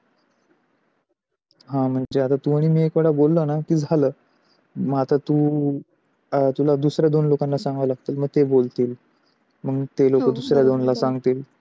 हा म्हणजे तू आणि मी एक वेळा बोललो न म्हणजे झाल. मग आता तू तुला दुसरे दोन लोकला सांगा लागते मग थे बोलते, मग थे लोक दुसरे दोन लोकला सांगते